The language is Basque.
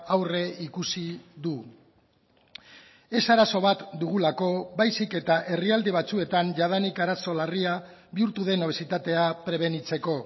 aurreikusi du ez arazo bat dugulako baizik eta herrialde batzuetan jadanik arazo larria bihurtu den obesitatea prebenitzeko